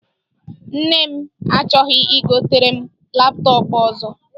Nne m achọghị igotere m laptọp ọzọ.